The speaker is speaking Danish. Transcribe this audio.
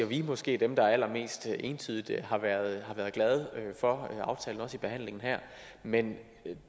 vi er måske dem der allermest entydigt har været glade for aftalen også i behandlingen her men